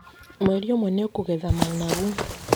Mweri ũmwe nĩ ũkũgetha managu.